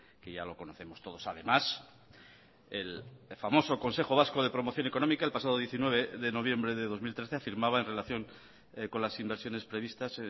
que ya lo conocemos todos además el famoso consejo vasco de promoción económica el pasado diecinueve de noviembre de dos mil trece afirmaba en relación con las inversiones previstas